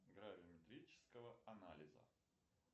гравиметрического анализа